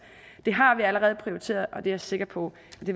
har vi allerede prioriteret og det er jeg sikker på